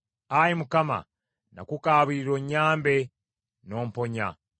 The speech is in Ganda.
Ayi Mukama , nakukaabirira onnyambe, n’omponya.